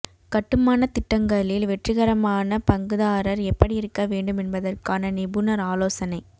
கட்டுமானத் திட்டங்களில் வெற்றிகரமான பங்குதாரர் எப்படி இருக்க வேண்டும் என்பதற்கான நிபுணர் ஆலோசனை